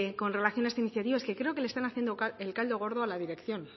con relación a esta iniciativa es que creo que le están haciendo el caldo gordo a la dirección